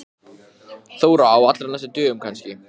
Á bara að setja mann í útgöngubann?